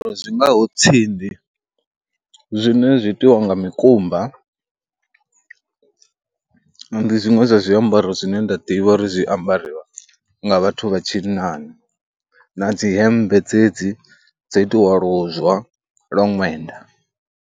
Zwi ngaho tsindi zwine zwi itiwa nga mikumba, ndi zwiṅwe zwa zwiambaro zwine nda ḓivha uri zwi ambarwa nga vhathu vha tshinnani na dzi hemmbe dzedzi dzo itiwa luzwa lwa ṅwenda.